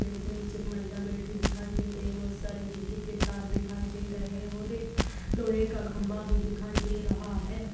पेड़ के नीचे एक महिला बैठी दिखाई दे रही। बहुत सारे बिजली के तार दिखाई दे रहे हैं और एक लोहे का खम्भा भी दिखाई दे रहा है।